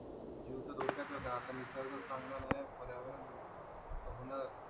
जीव त धोक्यातच आहे आता निसर्गच चांगला नाही आहे पर्यावरण त होणारच आहे